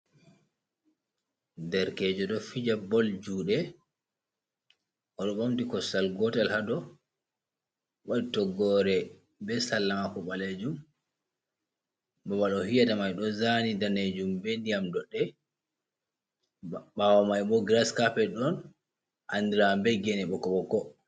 Derkejo ɗo fija bol juɗe oɗo ɓamti kosngal gotel ha dou waɗi toggore be salla mako ɓalejum babal o fijata mai ɗo zani danejum be ndiyam doɗɗe ɓawo mai bo giras capet on andira be gene ɓokko ɓokko.